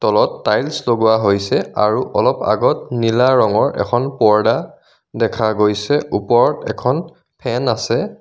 তলত টাইলছ্ লগোৱা হৈছে আৰু অলপ আগত নীলা ৰঙৰ এখন পৰ্দা দেখা গৈছে ওপৰত এখন ফেন আছে.